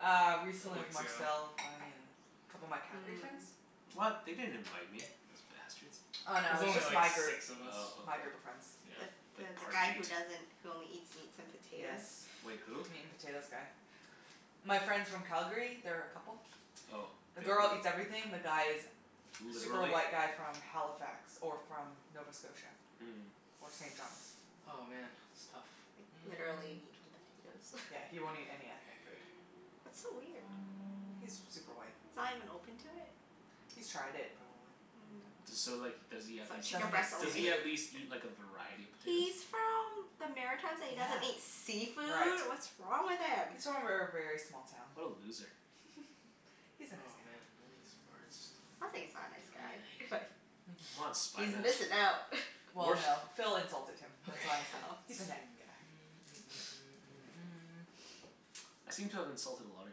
Uh, A recently couple with weeks ago. Marcel, Bonnie, and a couple of my Calgary friends. Mm. What? They didn't invite me, those bastards. Oh It no, was it was only just my like group, six of us. Oh, my okay. group of friends. Yeah. The the Like the guy Parjeet. who doesn't, who only eats meats and Yes, potatoes? Wait, who? meat and potatoes guy. My friends from Calgary. They're a couple. Oh. The The girl girl, eats everything. The guy is super literally? white guy from Halifax. Or from Nova Scotia. Mm. Or St. John's. Oh, man. It's tough. Like, Mm. literally meat and potatoes. Yeah, he won't eat any ethnic food. That's so weird. He's super white. He's not even open to it? He's tried it, probably, and Mm. didn't D- So so like does he at least chicken Doesn't eat breast eat, does only. he at seafood. least eat like a variety of He's potatoes? from the Maritimes and he Yeah. doesn't eat Right. seafood? What's wrong with him? He's from a ver- very small town. What a loser. He's a nice Oh guy. man, none of these words do Sounds like he's not a nice guy. anything. Come on Spy He's Master. missin' out. Well Wart? no, Phil insulted him. Okay. That's why I said, Oh. "He's a night guy." I seem to have insulted a lot of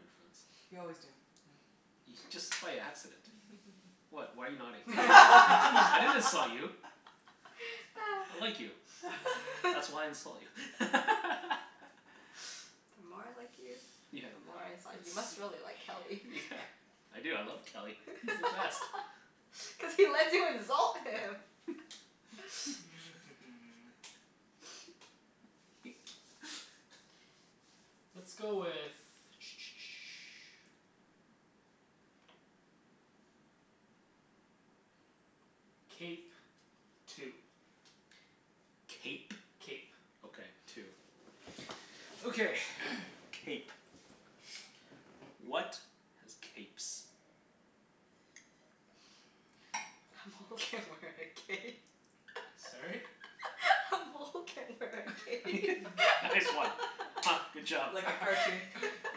your friends. You always do, yeah. Ye- just by accident. What? Why are you nodding? I didn't insult you. I like you. That's why I insult you. The more I like you, Yeah. the more I insult you. You must really like Kelly. Yeah. I do. I love Kelly. He's the best. Cuz he lets you insult him. Let's go with Cape. Two. Cape? Cape. Okay. Two. Okay. Cape. What has capes? A mole can wear a cape. A mole can wear a cape. Nice one. Huh. Good job. Like a cartoon. Yeah.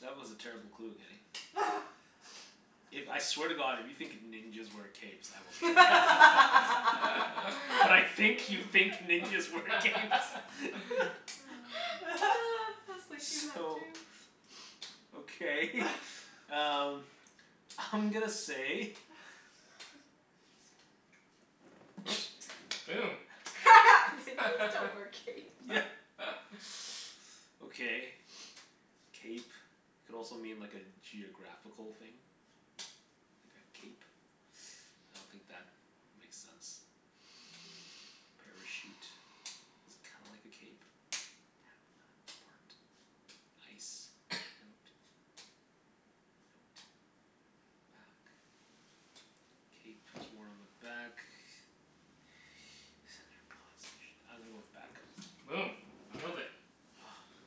That was a terrible clue, Kenny. If, I swear to god, if you think ninjas wear capes I will I kill you. But I was think you thinking think ninjas wear capes. that too. So okay um I'm gonna say Boom. Ninjas don't wear capes. Yeah. Okay. Cape could also mean like a geographical thing. Like a cape. I don't think that makes sense. A parachute is kinda like a cape ice note. Note. Bat. Cape is worn on the back. I'm gonna go with back. Boom. Killed it.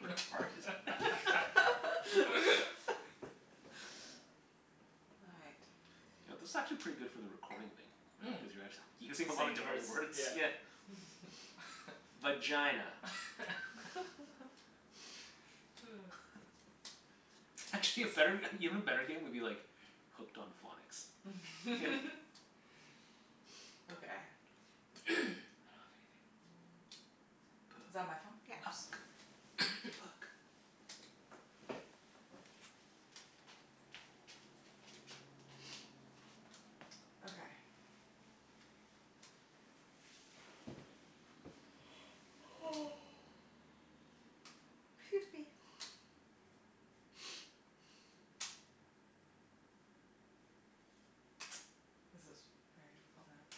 Retarded. All right. You know, this is actually pretty good for the recording thing. Right? Cuz you're actu- you're saying a lot of Saying different words? words. Yeah. Yeah. Vagina. Actually, a better, even better game would be like Hooked on Phonics. Okay. I don't have anything. P- Is that my phone? Yeah. Oops. uck. Puck. Okay. Excuse me. This is very difficult now.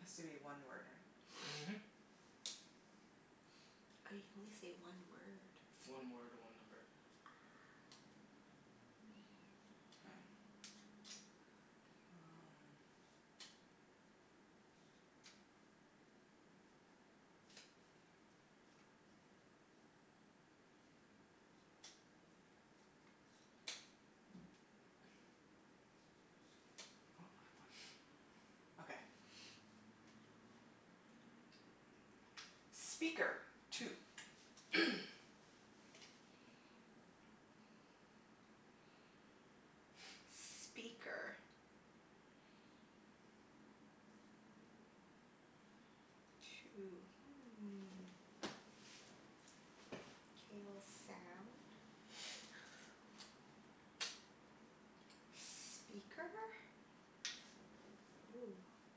Has to be one word, right? Mhm. Oh, you can only say one word. One word, one number. Ah. K. Um Oh, I have one. Okay. Speaker. Two. Speaker. Two. Hmm. K, well, sound. Speaker? Hoo.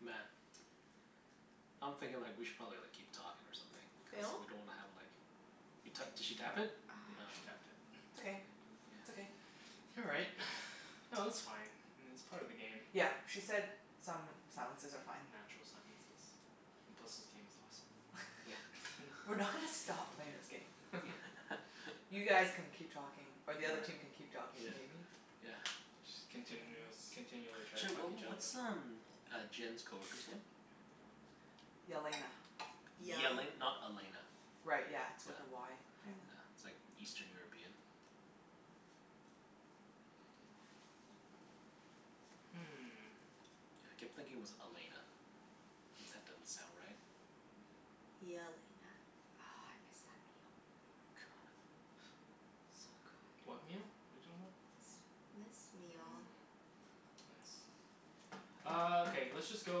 Man. I'm thinking like we should probably like keep talking or something, cuz Phil? we don't wanna have like You to- did she tap it? Ah. Yeah, she tapped it. It's okay. K. It's okay. Yeah. All right. No, that's fine. It's part of the game. Yep. She said some silences are fine. Natural silences. And plus this game is awesome. Yeah. We're not gonna stop playing this game. Yeah. You guys can keep talking, or All right. the other team can keep talking, Yeah. maybe? Yeah. Just continu- continually to try to Sorry fuck what each other up. what's um uh Jenn's coworker's name? Yelena. Yal- Yele- not Elena? Right, yeah. It's Yeah. with a Y Yeah. Yeah. apparently. It's like Eastern European? Hmm. Yeah, I kept thinking it was Elena. If that doesn't sound right. Yelena. Oh, I miss that meal. Good. So good. What meal? What are you talking about? This this meal. Mm. Nice. Ah, okay. Let's just go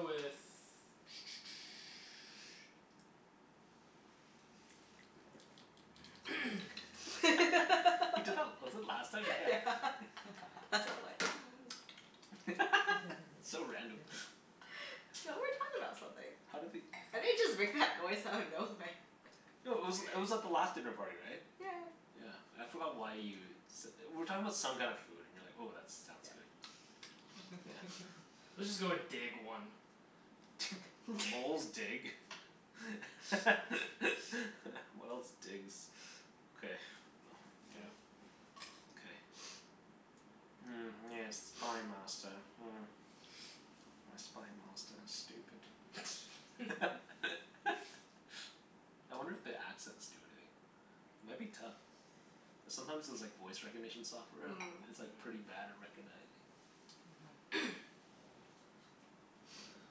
with He did that, was it last time? Yeah. Yeah. That's why I'm like So random. So, we were talking about something. How did he I didn't just make that noise out of nowhere. No, it was it was at the last dinner party, right? Yeah yeah. Yeah. I forgot why you s- we were talking about some kinda food and you were like, "Oh, that sounds Yeah. good." Yeah. Let's just go with dig, one. Moles dig. What else digs? Okay, Yeah. well, yeah. Okay. Mm, yes, Spy Master, hmm. My Spy Master is stupid. I wonder if the accents do anything? It might be tough. Cuz sometimes those like voice recognition software, Mm. it's like pretty Mm. bad at recognizing. Mhm.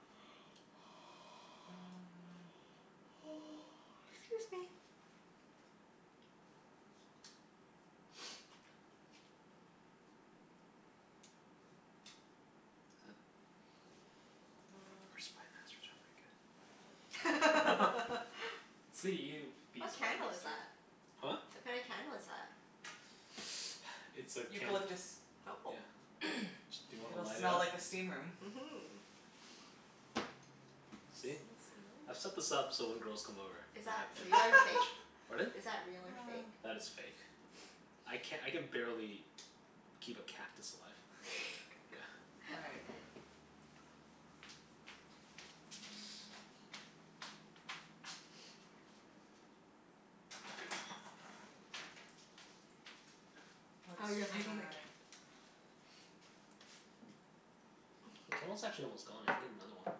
Mm. 'Scuse me. Is th- Huh. Our Spy Masters aren't very good. Let's see you be What Spy candle is Master. that? Huh? What kinda candle is that? It's a can. Eucalyptus. Oh. Yeah. Do you wanna It'll light it smell up? like a steam room. Mhm. See? I've set Smells so nice. this up so when girls come over Is I that have real or fake? advantage. Pardon? Is that real or fake? That is fake. I can, I can barely keep a cactus alive. Yeah. All right. Oh, you're Let's lighting the cand- try The candle's actually almost gone. I can get another one.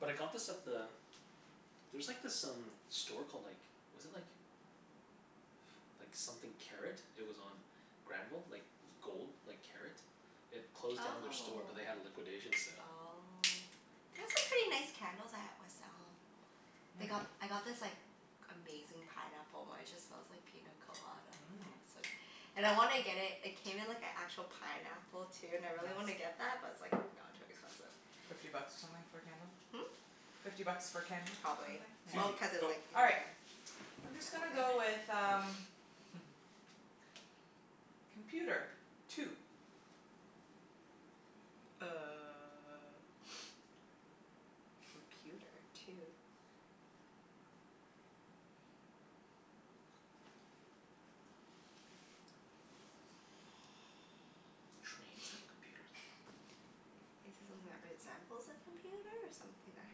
But I got this at the, there's like this um store called like, was it like like something Karat. It was on Granville. Like gold, like karat. It closed down their store but they had a Oh. liquidation sale. Oh. They have some pretty nice candles at West Elm. Mm. They got, I got this like amazing pineapple one. It just smells like pina colada, oh Mmm. so And I wanna get it, it came in like an actual pineapple, too, and I really wanna Nice. get that, but it's like no, too expensive. Fifty bucks or something for a candle? Hmm? Fifty bucks for a candle, or something? Probably. Yeah. Susie. Well, cuz it's Go. like in All a right. I'm just gonna go pineapple thing. with um Computer. Two. Uh computer two? Trains have computers on them. Is it something that resembles a computer or something that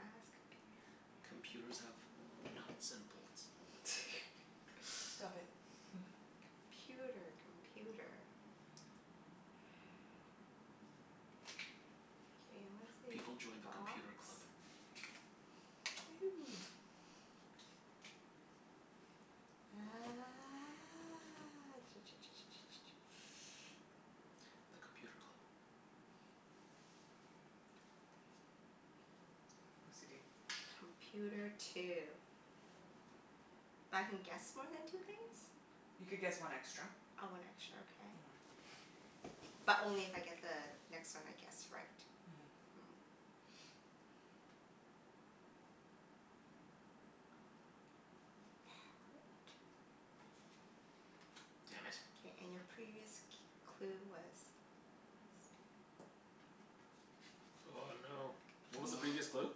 has computer? Computers have nuts and bolts. Stop it. Computer. Computer. K, I'm gonna say People join the box. Computer Club. You. Ah The Computer Club. OCD. Computer two. But I can guess more than two things? You could guess one extra. Oh, one extra. Okay. Mhm. But only if I get the next one I guess right? Mhm. Mm. Part. Damn it. K, and your previous c- clue was Oh no. What was the previous Wow. clue?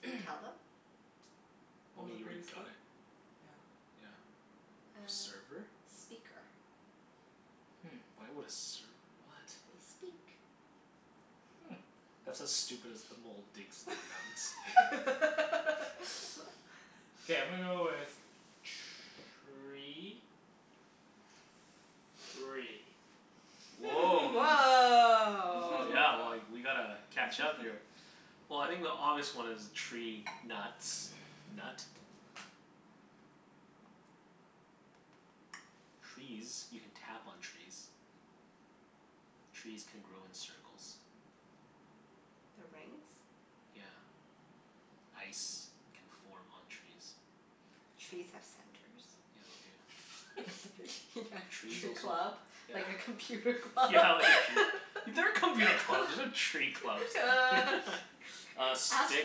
Can you tell them? What Well I was the mean, you already previous got clue? it. Yeah. Yeah. Uh, Server? speaker. Hmm. Why would a serv- what? They speak. Hmm. That's as stupid as the mole digs for nuts. K, I'm gonna go with tree. Three. Woah. Oh yeah, well Woah. like, we gotta catch up here. Well, I think the obvious one is tree nuts. Nut. Trees. You can tap on trees. Trees can grow in circles. The rings? Yeah. Ice can form on trees. Trees have centers. Yeah, they do. Yeah, Trees tree also, club. yeah Like a computer club. Yeah, like a tree, there are computer clubs, there's no tree clubs. Uh, Ask stick,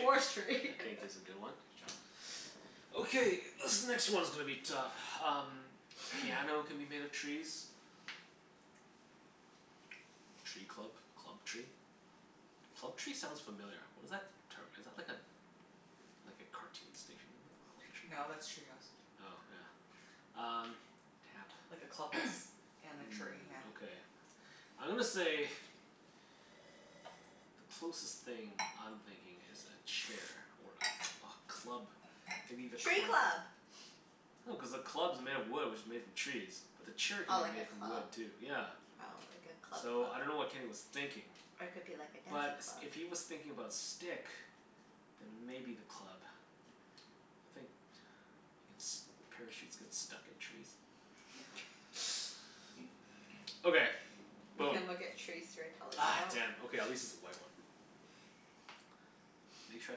I think is a good one. Good job. Okay, this next one's gonna be tough. Um Piano can be made of trees. Tree club? Club tree? Club tree sounds familiar. What is that term? Is that like a like a cartoon station No, Club Tree? that's Treehouse. Oh, yeah. Um, tap. Like a clubhouse and a tree, Mm, yeah. okay. I'm gonna say Closest thing I'm thinking is a chair or a a club maybe the Tree club? club! No, cuz the club's made of wood which is made from trees. But the chair Oh, could like be a made from club? wood, too. Yeah. Oh, like a club So, I dunno club. what Kenny was thinking. Or it could be like a But dancing s- club. if he was thinking about stick then maybe the club. I think ins- parachutes get stuck in trees. Okay, You boom. can look at trees through a Ah, telescope. damn. Okay, at least it's a white one. Make sure I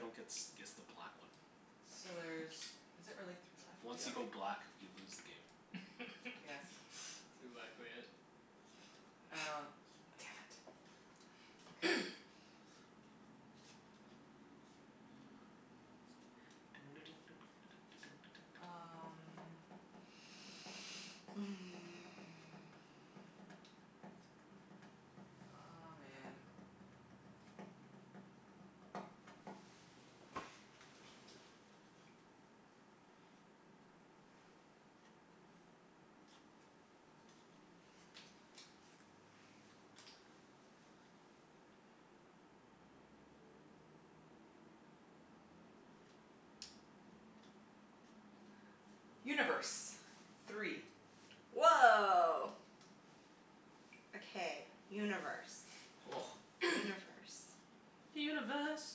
don't gets guess the black one. So there's, is it really three left? Once you Yep. go black you lose the game. That's Yes. exactly it. Oh, damn it. Okay. Um Aw, man. Universe. Three. Woah. Okay, universe. Universe. Universe.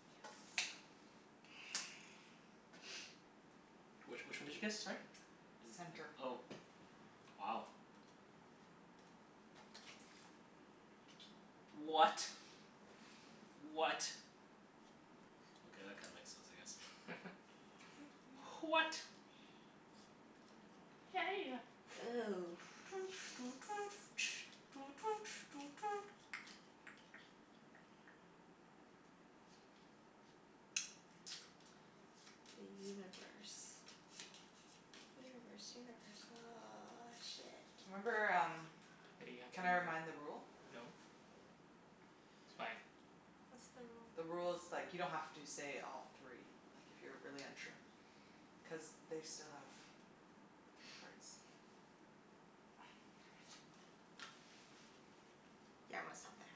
Yes. Which which one did you guess, sorry? Does Center. it, oh, wow. What? What? Okay, that kinda makes sense, I guess. H- what? Hey ya. Ooh. The universe. Universe, universe. Ah, shit. Remember um, Hey, you have to can I re- remind the rule? no. It's fine. What's the rule? The rule is like you don't have to say all three. Like, if you're really unsure. Cuz they still have three cards. Damn it. Yeah, I'm gonna stop there.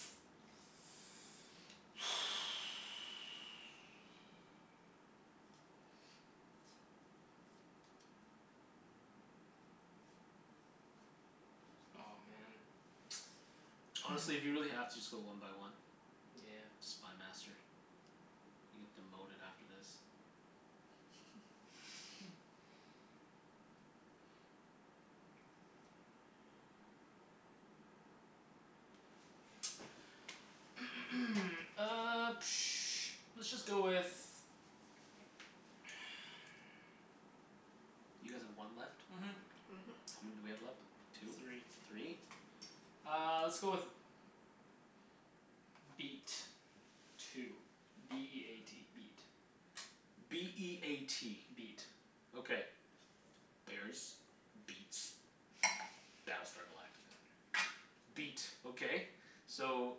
Oh, man. Honestly, if you really have to, just go one by one. Nyeah. Spy Master. You get demoted after this. Hmm. Uh let's just go with You guys have one left? Mhm. Mhm. How many do we have left? Three. Two? Three? Uh, let's go with beat. Two. B e a t. Beat. B e a t. Beat. Okay. Bears. Beats. Battlestar Galactica. Beat. Okay. So,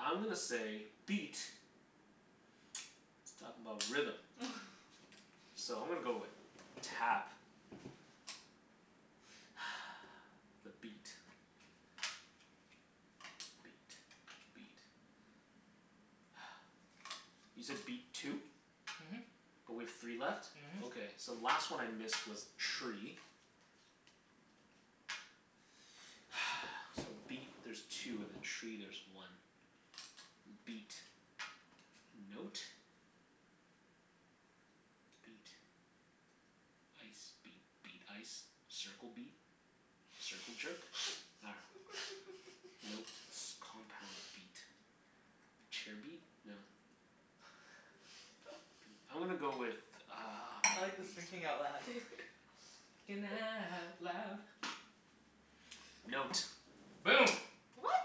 I'm gonna say beat is talkin' 'bout rhythm. So I'm gonna go with tap. The beat. The beat. The beat. You said beat two? Mhm. But we have three left? Mhm. Okay, so the last one I missed was tree. So beat there's two, and then tree there's one. M- beat. Note. Beat. Ice. Beat. Beat. Ice. Circle beat. Circle jerk? Nah. Note. S- compound beat. Chair beat? No. Beat. I'm gonna go with uh I like this thinking out loud. Thinking out loud. Note. Boom. What?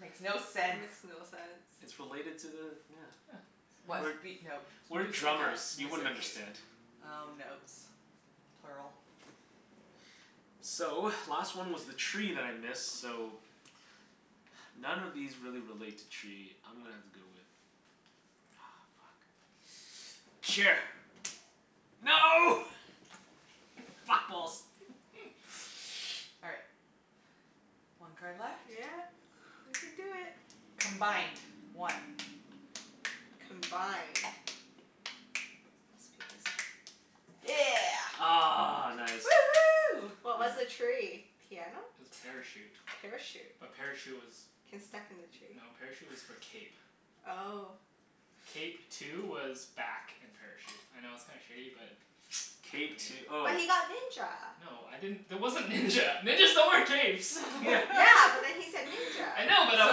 Makes no That sense. makes no It's sense. related to the, yeah. Yeah. What? We're Beat note? we're drummers. Mus- You music wouldn't music. understand. Oh, notes. Plural. So, last one was the tree that I missed, so none of these really relate to tree. I'm gonna have to go with Aw, fuck. Chair. No! Fat balls! All right. One card left. Yeah. We can do it. Combined. One. Combined. Must be this one. Yeah. Ah, nice. Woohoo. What was the tree? Piano? Parachute. Parachute? A parachute was, Can stuck in the tree? no, parachute was for cape. Oh. Cape two was back and parachute. I know it's kinda shitty but what Cape two oh. But he got ninja. No, I didn't, there wasn't ninja. Ninjas don't wear capes. Yeah. Yeah, but then he said ninja. I know but I So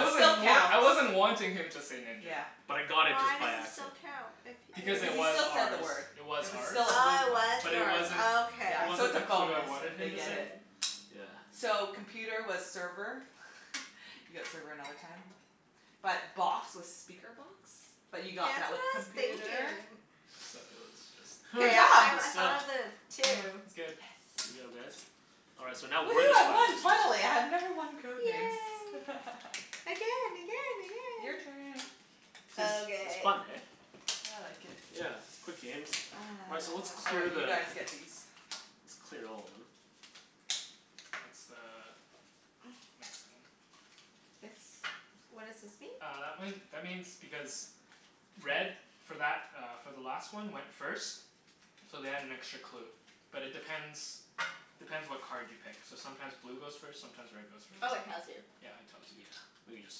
it still wan- counts. I wasn't wanting him to say ninja. Yeah. But I got it Why just does by it accident. still count, if Because Cuz if it he he was still said the ours. word. It was It was ours. still a blue Oh, it card. was But it yours. wasn't, Oh okay. it Yeah. So wasn't it's a the clue I bonus wanted if they him to get say. it. Mm. Yeah. So, computer was server. You got server another time. But box was speaker box, but That's you what got that with I was computer. thinking. So, it was just K, Good job. I I That's done. thought of it too. It's good. Good Yes. job, guys. All right, so now we're Woohoo. the I Spy won, Masters. finally. I have never won Code Names. Yay. Again, again, Your again! turn. It's it's Okay. fun, hey? I like it. Yeah. Quick games. All right, so let's Oh, clear right. Ah. You the guys get these. Let's clear all of them. That's the next one. This, what does this mean? Uh, that one, that means because red for that uh for the last one went first. So they had an extra clue. But it depends depends what card you pick. So sometimes blue goes first, sometimes red goes Oh, first. it tells you. Yeah, it tells you. Yeah. We can just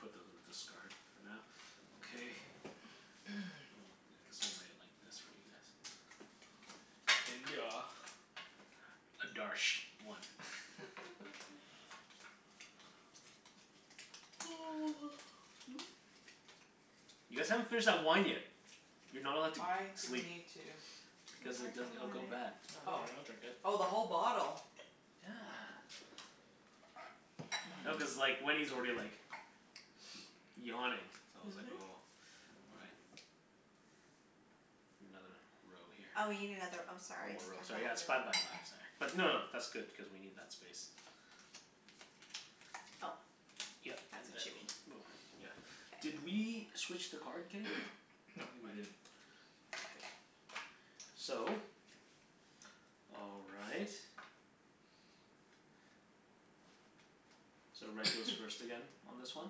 put those in the discard for now. Okay. Oh, I guess we'll lay it like this for you guys. India. Adarsh. One. You guys haven't finished that wine yet. You're not allowed to g- Why do we sleep. need to I'm Because it working di- it'll on go bad. it. No, don't Oh. worry. I'll drink it. Oh, the whole bottle? Yeah. No, cuz Mmm. like Wenny's already like yawning. So I was like Mhm. oh all right. Another row here. Oh, we need another, oh One sorry. more row, I thought sorry. Yeah, it's five we by five, sorry. But no no, that's good, cuz we need that space. Oh, Yep. And that's what you then mean. we'll, yeah. Did K. we switch the card, Kenny? I No, don't think we I did. didn't. Okay. So all right. So red goes first again on this one.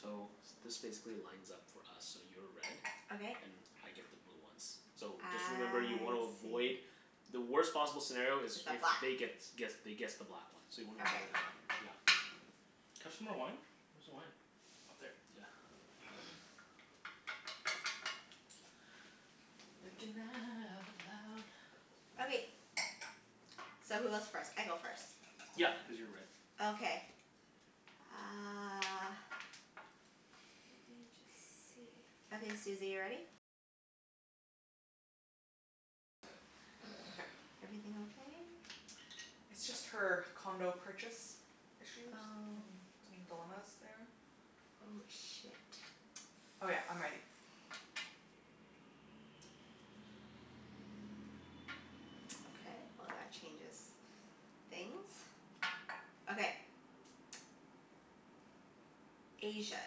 So this basically lines up for us. So you're red. Okay. And I get the blue ones. So, I just remember you wanna avoid see. The worst possible scenario Is is a if black they gets guess they guess the black one, so you wanna Okay. avoid that one. Yeah. Can I have some more wine? Where's the wine? Up there. Yeah. Thinking out loud. Okay. So who goes first? I go first. Yep, cuz you're red. Okay. Uh Okay. Everything okay? It's just her condo purchase issues Oh. and some dilemmas there. Oh, shit. Oh yeah, I'm ready. Okay, well that changes things. Okay. Asia.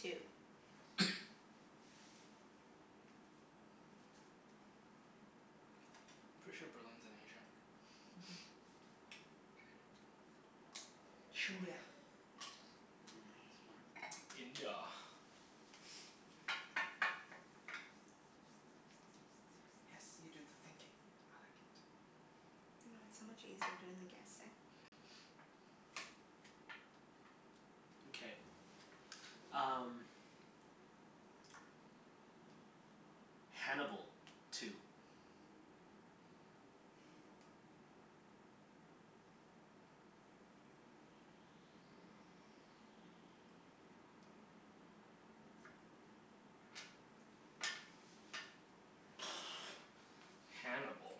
Two. Pretty sure Berlin's in Asia. Mhm. Trindia. Mm, smart. India. Yes. You do the thinking. I like it. I know, it's so much easier doing the guessing. Okay, um Hannibal. Two. Hannibal.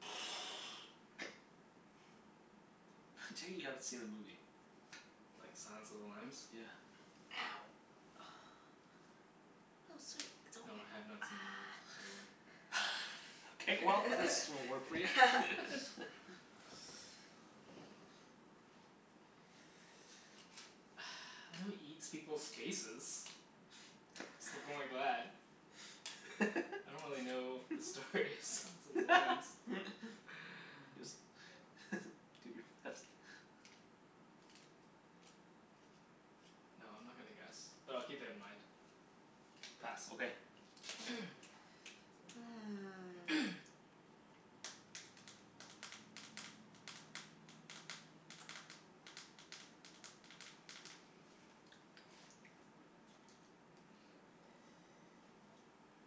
I take it you haven't seen the movie? Like, Silence of the Lambs? Yeah. Ow. Oh, sweet. It's okay. No, I have not seen the movie, by the way. K, well this won't work for you. Ah. I know he eats people's faces. I don't really know the story of Silence of the Lambs. Just do your best. No, I'm not gonna guess. But I'll keep it in mind. Pass. Okay. K.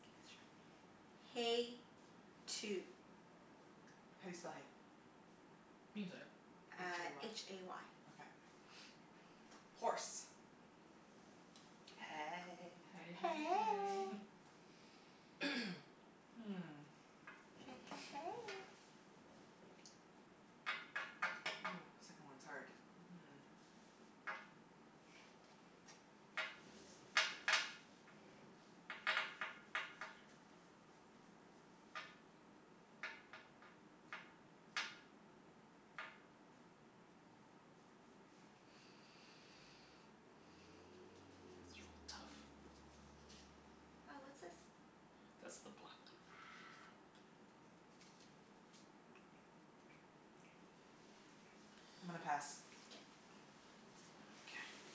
K, let's try, hay. Two. How do you spell hay? You can say it. h Uh, a h y. a y. Okay. Horse. Hey. Hey hey hey. Hey. Hmm. Hey hey hey. Ooh, second one's hard. Mhm. These are all tough. Oh, what's this? That's the black one. I'm gonna pass. K. K.